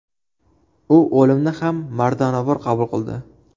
U o‘limni ham mardonavor qabul qildi.